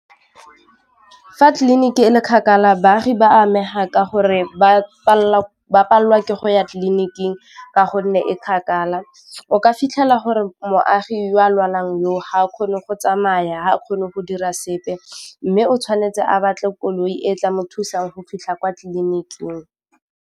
Fa tleliniki e le kgakala baagi ba amega ka gore ba palelwa ke go ya tleliniking ka gonne e kgakala, o ka fitlhela gore moagi ya lwalang yo ga a kgone go tsamaya, ga a kgone go dira sepe mme o tshwanetse a batle koloi e tla mo thusang go fitlha kwa tleliniking.